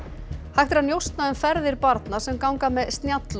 hægt er að njósna um ferðir barna sem ganga með